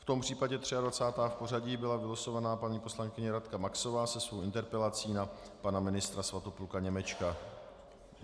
V tom případě 23. v pořadí byla vylosovaná paní poslankyně Radka Maxová se svou interpelací na pana ministra Svatopluka Němečka.